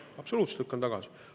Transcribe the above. Absoluutselt lükkan tagasi!